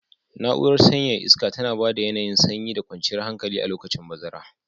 Na'urar sanyaya iska tana ba da yanayin sanyi da kwanciyar hankali a lokacin bazara.